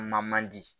Ma man di